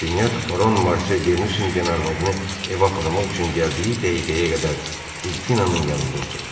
Rastinyak Baron Marsel Denusenqin arvadını evə aparmaq üçün gəldiyi dəqiqəyə qədər Delfinanın yanında oturdu.